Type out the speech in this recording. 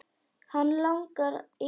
Hann langar í kaffi.